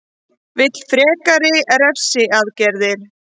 Vill frekari refsiaðgerðir